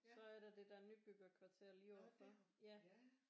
Så er der det der nybyggerkvarter lige lige overfor